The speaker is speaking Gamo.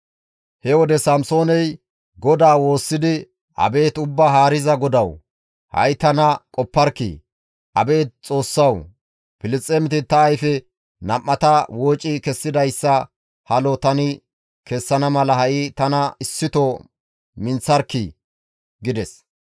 He wode Samsooney GODAA woossidi, «Abeet Ubbaa Haariza GODAWU! Ha7i tana qopparkkii! Abeet Xoossawu, Filisxeemeti ta ayfe nam7ata wooci kessidayssa halo tani kessana mala ha7i tana issito minththarkkii!» gides.